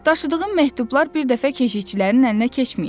Daşıdığım məktublar bir dəfə keşiyçilərin əlinə keçməyib.